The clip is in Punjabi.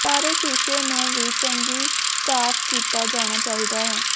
ਸਾਰੇ ਸ਼ੀਸ਼ੇ ਨੂੰ ਵੀ ਚੰਗੀ ਸਾਫ਼ ਕੀਤਾ ਜਾਣਾ ਚਾਹੀਦਾ ਹੈ